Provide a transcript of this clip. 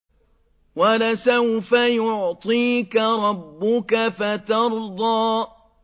وَلَسَوْفَ يُعْطِيكَ رَبُّكَ فَتَرْضَىٰ